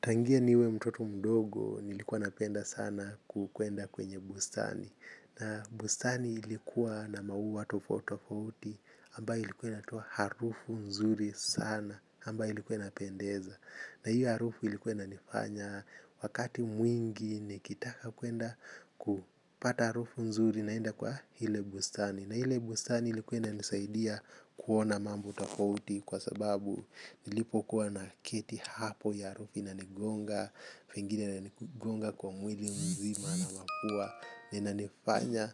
Tangia niwe mtoto mdogo nilikuwa napenda sana kukwenda kwenye bustani. Na bustani ilikuwa na maua tofauti tofauti ambayo ilikuwa inatoa harufu nzuri sana ambayo ilikuwa inapendeza. Na hiyo harufu ilikuwa inanifanya wakati mwingi nikitaka kuenda kupata harufu nzuri naenda kwa ile bustani. Na ile bustani ilikuwa inanisaidia kuona mambo tofauti kwa sababu nilipokuwa naketi hapo hiyo harufi inanigonga, pengine inanigonga kwa mwili mzima na wakuwa, inanifanya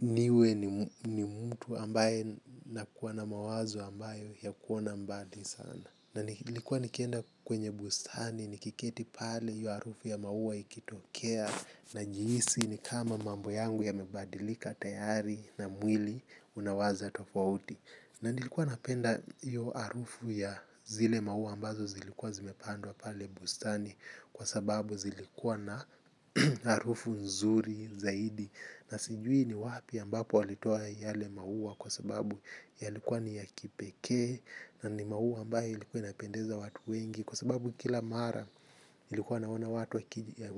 niwe ni mtu ambaye nakuwa na mawazo ambayo ya kuona mbali sana na nilikuwa nikienda kwenye bustani nikiketi pale hiyo harufu ya maua ikitokea najihisi ni kama mambo yangu yamebadilika tayari na mwili unawaza tofauti. Na nilikuwa napenda hiyo harufu ya zile maua ambazo zilikuwa zimepandwa pale bustani kwa sababu zilikuwa na harufu nzuri zaidi. Na sijui ni wapi ambapo walitoa yale maua kwa sababu yalikuwa ni ya kipekee na ni maua ambayo ilikuwa inapendeza watu wengi. Kwa sababu kila mara ilikuwa naona watu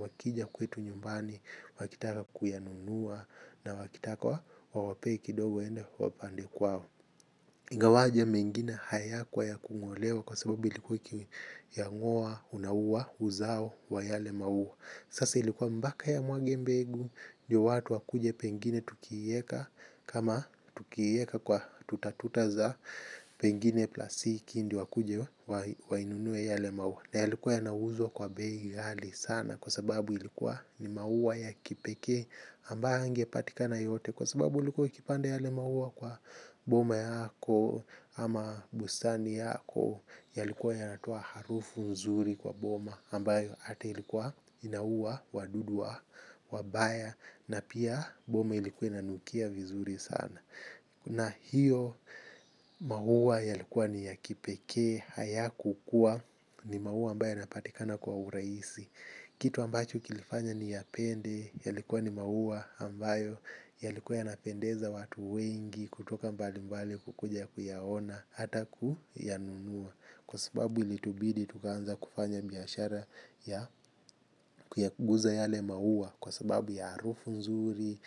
wakija kwetu nyumbani, wakitaka kuyanunua na wakitaka wa wape kidogo waenda wapande kwao. Ingawaje mengina hayakuwa ya kungolewa kwa sababu ilikuwa ukiyangoa unauwa uzao wa yale maua. Sasa ilikuwa mbaka yamwage mbegu ndo watu wakuje pengine tukieka kama tukieka kwa tutatuta za pengine plasiki ndio wakuje wainunue yale maua. Na yalikuwa yanauzwa kwa bei ghali sana kwa sababu ilikuwa ni maua ya kipekee ambayo hayangepatikana yote. Kwa sababu ilikuwa ukipanda yale maua kwa boma yako ama bustani yako yalikuwa yanatoa harufu nzuri kwa boma ambayo hata ilikuwa inauwa wadudu wa wabaya na pia boma ilikuwa inanukia vizuri sana na hiyo maua yalikuwa ni ya kipekee hayakukuwa ni maua ambayo yanapatikana kwa urahisi. Kitu ambacho kilifanya niyapende, yalikuwa ni maua ambayo, yalikuwa yanapendeza watu wengi, kutoka mbali mbali kukuja kuyaona, hata kuyanunua. Kwa sababu ilitubidi tukaanza kufanya biashara ya ya kuguza yale maua. Kwa sababu ya harufu nzuri,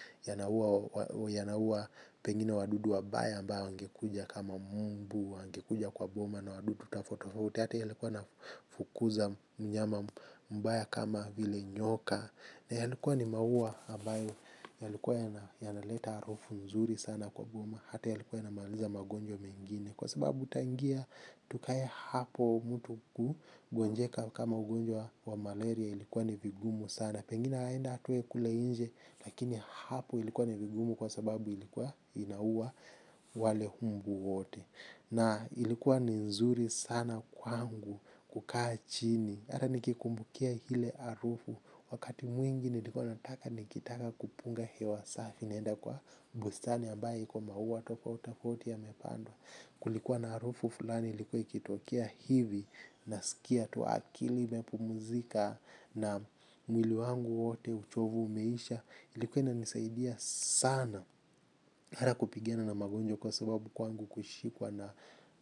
yanaua pengine wadudu wabaya ambao wangekuja kama mbu angekuja kwa boma na wadudu tofauti tofauti. Hata yalikuwa yanafukuza mnyama mbaya kama vile nyoka. Na yalikuwa ni maua ambayo yalikuwa yanaleta harufu nzuri sana kwa boma. Hata yalikuwa yanamaaliza magonjwa mengine. Kwa sababu tutaingia tukae hapo mtu ku gonjeka kama ugonjwa wa malaria ilikuwa ni vigumu sana. Pengine aende atoe kule nje lakini hapo ilikuwa ni vigumu kwa sababu ilikuwa inauwa wale mbu wote. Na ilikuwa ni nzuri sana kwangu kukaa chini hata nikikumbukia ile harufu wakati mwingi nilikuwa nataka nikitaka kupunga hewa safi naenda kwa bustani ambayo iko maua tofauti tofauti yamepandwa. Kulikuwa na harufu fulani ilikuwa ikitokea hivi. Nasikia tu akili imepumuzika na mwili wangu wote. Uchovu umeisha. Ilikuwa inanisaidia sana. Hata kupigana na magonjwa kwa sababu kwangu kushikwa na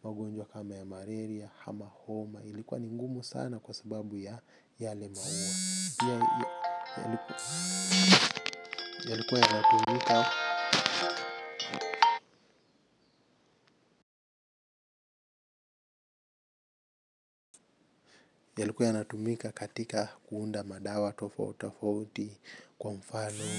magonjwa kama ya maleria, ama homa. Ilikuwa ni ngumu sana kwa sababu ya yale maua. Yalikuwa yanatumika katika kuunda madawa tofauti tofauti kwa mfano.